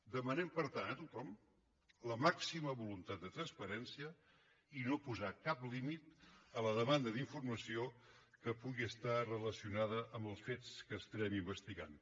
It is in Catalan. demanem per tant a tothom la màxima voluntat de transparència i no posar cap límit a la demanda d’informació que pugui estar relacionada amb els fets que estarem investigant